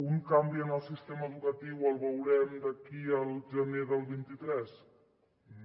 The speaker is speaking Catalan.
un canvi en el sistema educatiu el veurem d’aquí al gener del vint tres no